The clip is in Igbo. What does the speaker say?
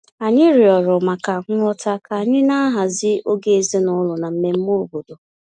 Anyị rịọrọ maka nghọta ka anyị na-ahazi oge ezinụlọ na mmemme obodo